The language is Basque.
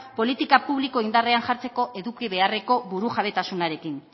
politika publiko indarrean jartzeko eduki beharreko burujabetasunaren